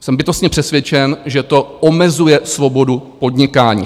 Jsem bytostně přesvědčen, že to omezuje svobodu podnikání.